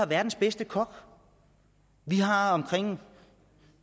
verdens bedste kok vi har omkring